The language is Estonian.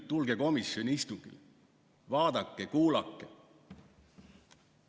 Tulge komisjoni istungile, vaadake ja kuulake!